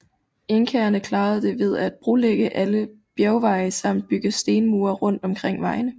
Inkaerne klarede det ved at brolægge alle bjergveje samt bygge stenmure rundt omkring vejene